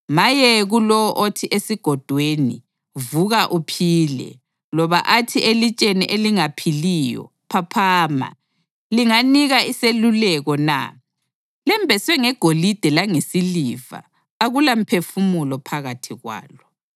Maye kulowo othi esigodweni, ‘Vuka uphile!’ loba athi elitsheni elingaphiliyo, ‘Phaphama!’ Linganika iseluleko na? Lembeswe ngegolide langesiliva, akulamphefumulo phakathi kwalo.”